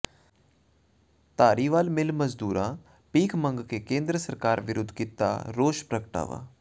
Dhariwal mill ਮਜ਼ਦੂਰਾਂ ਭੀਖ ਮੰਗ ਕੇ ਕੇਂਦਰ ਸਰਕਾਰ ਵਿਰੁੱਧ ਕੀਤਾ ਰੋਸ ਪ੍ਰਗਟਾਵਾ